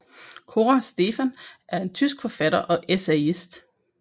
Cora Stephan er en tysk forfatter og essayist